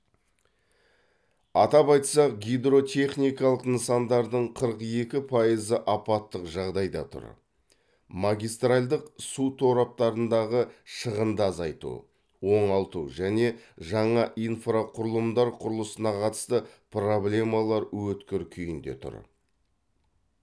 атап айтсақ гидротехникалық нысандардың қырық екі пайызы апаттық жағдайда тұр магистральдық су тораптарындағы шығынды азайту оңалту және жаңа инфрақұрылымдар құрылысына қатысты проблемалар өткір күйінде тұр